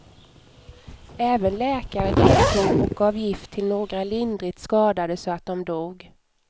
Även läkare deltog och gav gift till några lindrigt skadade så att de dog.